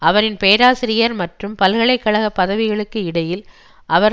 அவரின் பேராசிரியர் மற்றும் பல்கலை கழக பதவிகளுக்கு இடையில் அவர்